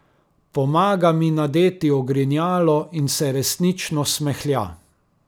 Pomaga mi nadeti ogrinjalo in se resnično smehlja.